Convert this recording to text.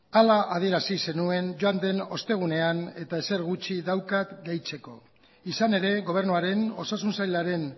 hala adierazi zenuen joan den ostegunean eta ezer gutxi daukat gehitzeko izan ere gobernuaren osasun sailaren